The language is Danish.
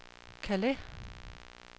Calais